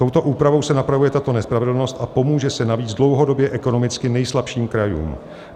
Touto úpravou se napravuje tato nespravedlnost a pomůže se navíc dlouhodobě ekonomicky nejslabším krajům.